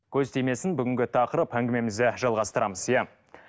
көз тимесін бүгінгі тақырып әңгімемізді жалғастырамыз иә